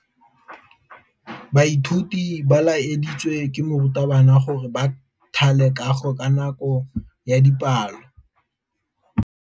Baithuti ba laeditswe ke morutabana gore ba thale kagô ka nako ya dipalô.